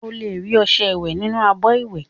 Ó lè rí ọṣẹ ìwẹ nínú abọ ìwẹ